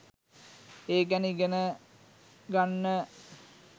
ඒ ගැන ඉගෙන ගන්න.